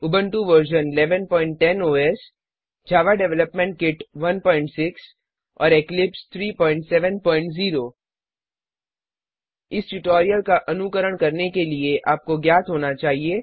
Ubuntu version 1110 OS Java development kit 16 और Eclipse 370 इस tutorial का अनुकरण करने के लिए आपको ज्ञात होना चाहिए